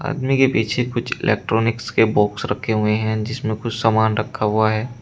आदमी के पीछे कुछ इलेक्ट्रॉनिक्स के बॉक्स रखे हुए हैं जिसमें कुछ समान रखा हुआ है।